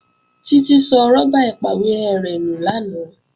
Títí sọ rọ́bà ìpàwérẹ́ rẹ̀ nù lánàá